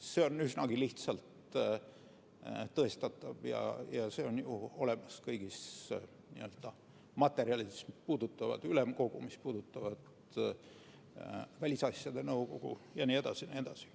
See on üsnagi lihtsalt tõestatav ja see on ju olemas kõigis materjalides, mis puudutavad ülemkogu, mis puudutavad välisasjade nõukogu jne, jne.